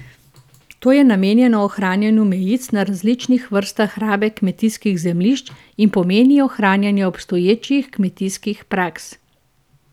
To je namenjeno ohranjanju mejic na različnih vrstah rabe kmetijskih zemljišč in pomeni ohranjanje obstoječih kmetijskih praks.